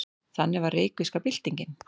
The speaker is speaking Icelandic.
Þannig var reykvíska byltingin.